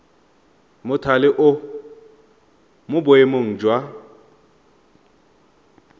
mothale o mo boemong jwa